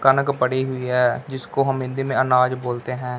कनक पड़ी हुई है जिसको हम हिन्दी में अनाज बोलते हैं।